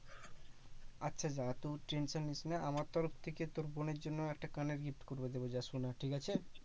আচ্ছা যা তুই tension নিস্ না আমার তরফ থেকে তোর বোনের জন্য একটা কানের gift করবো তোকে যা সোনার, ঠিক আছে?